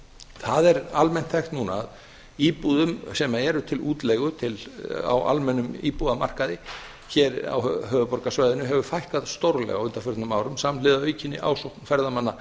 það er almennt þekkt núna að íbúðum sem eru til útleigu á almennum íbúðamarkaði hér á höfuðborgarsvæðinu hefur fækkað stórlega á undanförnum árum samhliða aukinni ásókn ferðamanna